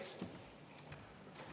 Aitäh!